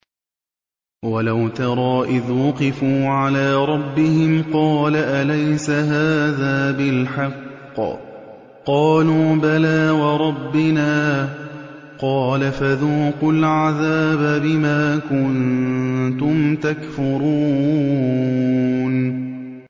وَلَوْ تَرَىٰ إِذْ وُقِفُوا عَلَىٰ رَبِّهِمْ ۚ قَالَ أَلَيْسَ هَٰذَا بِالْحَقِّ ۚ قَالُوا بَلَىٰ وَرَبِّنَا ۚ قَالَ فَذُوقُوا الْعَذَابَ بِمَا كُنتُمْ تَكْفُرُونَ